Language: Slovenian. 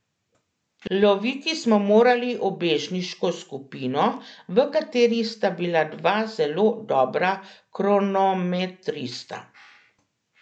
Loviti smo morali ubežniško skupino, v katerih sta bila dva zelo dobra kronometrista.